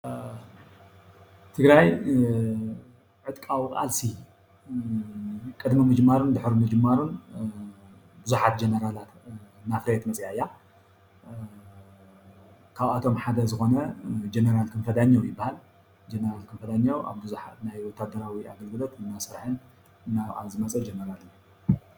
ትግራይ ዕጥቃዊ ቃልሲ ቅድሚ ምጅማሩን ድሕሪ ምጅማሩን ቡዙሓት ጀነራላት እናፍረየት መፅኣ እያ፡፡ ካብአቶም ሓደ ዝኮነ ጀነራል ክንፈ ዳኘው ይባሃል፡፡ ጀነራል ክንፈ ዳኘው ኣብ ቡዙሓት ናይ ወታደራዊ ኣገልግሎት እናሰረሐን ናይ ባዕሉ እናተቃለሰን ዝመፀ ጀነራል እዩ፡፡